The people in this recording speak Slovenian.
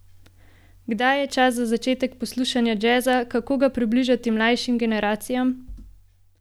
Kdaj je čas za začetek poslušanja jazza, kako ga približati mlajšim generacijam?